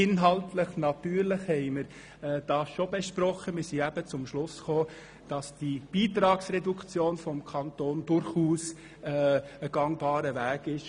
Inhaltlich haben wir das aber schon diskutiert und sind zum Schluss gekommen, dass die Beitragsreduktion des Kantons ein gangbarer Weg ist.